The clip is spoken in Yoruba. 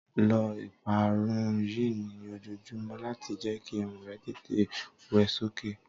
lọ ìparun yìí ni ojojumọ lati jẹ ki irun rẹ tètè wẹ sókè